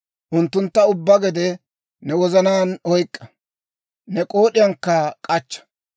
unttuntta ubbaa gede ne wozanaan oyk'k'a; ne k'ood'iyankka k'achcha.